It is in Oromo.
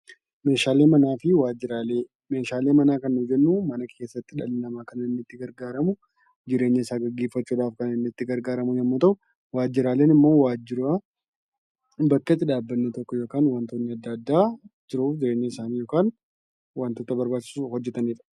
Meeshaalee manaa fi waajiraalee Meeshaalee manaa kan nuti jennuun mana keessatti dhalli namaa kan itti gargaaramu jireenya isaa gaggeeffachuuf waantota inni itti gargaaramu , waajiraaleen immoo waajira bakka itti dhaabbanni tokko yookaan waantonni addaa addaa yookaan waantota barbaachisoo hojjetanidha.